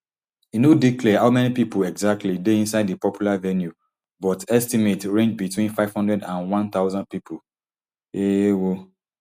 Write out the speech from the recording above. e no dey clear how many pipo exactly dey inside di popular venue but estimates range between five hundred and one thousand pipo um